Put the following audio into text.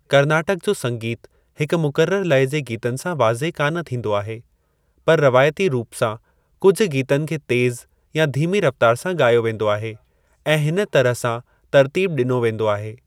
Carnatic जो संगीतु हिकु मुक़ररु लय जे गीतनि सां वाज़िए कान थींदो आहे, पर रिवायती रूप सां कुझु गीतनि खे तेज़ु या धीमी रफ़्तार सां गा॒यो वींदो आहे ऐं हिन तरह सां तरतीबु डि॒नो वेंदो आहे।